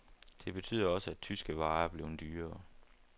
Det betyder også, at tyske varer er blevet dyrere.